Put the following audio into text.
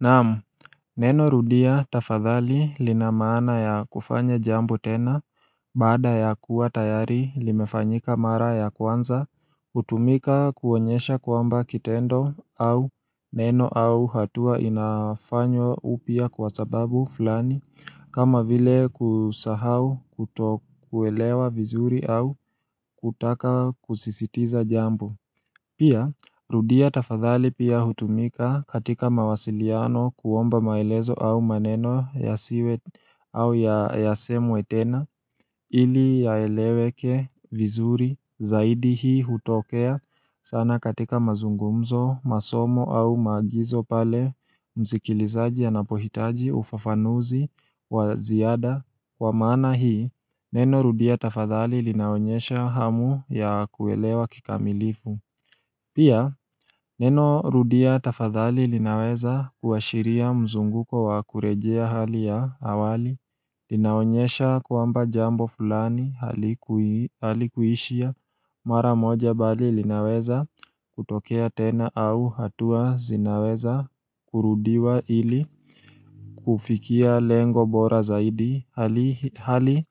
Naam, neno rudia tafadhali linamaana ya kufanya jambo tena baada ya kuwa tayari limefanyika mara ya kwanza hutumika kuonyesha kwamba kitendo au neno au hatua inafanywa upya kwa sababu fulani kama vile kusahau kuto kuelewa vizuri au kutaka kusisitiza jambo Pia rudia tafadhali pia hutumika katika mawasiliano kuomba maelezo au maneno ya siwe au ya semwe tena ili yaeleweke vizuri zaidi hii hutokea sana katika mazungumzo masomo au maagizo pale msikilizaji anapohitaji ufafanuzi waziada wa maana hii neno rudia tafadhali linaonyesha hamu ya kuelewa kikamilifu Pia neno rudia tafadhali linaweza kuashiria mzunguko wa kurejea hali ya awali linaonyesha kwamba jambo fulani halikuishia mara moja bali linaweza kutokea tena au hatua zinaweza kurudiwa ili kufikia lengo bora zaidi hali hali